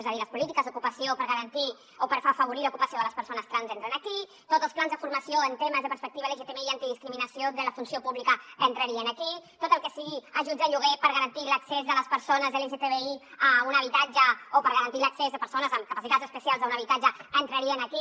és a dir les polítiques d’ocupació per garantir o per afavorir l’ocupació de les persones trans entren aquí tots els plans de formació en temes de perspectiva lgtbi i antidiscriminació de la funció pública entrarien aquí tot el que siguin ajuts de lloguer per garantir l’accés de les persones lgtbi a un habitatge o per garantir l’accés de persones amb capacitats especials a un habitatge entrarien aquí